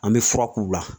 An bɛ fura k'u la